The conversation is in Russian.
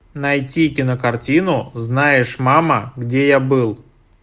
найди кинокартину знаешь мама где я был